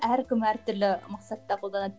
әркім әр түрлі мақсатта қолданады